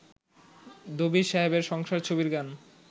দবির সাহেবের সংসার ছবির গান